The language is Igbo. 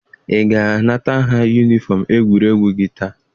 Ị ga-anata ha yunifọm egwuregwu gị taa!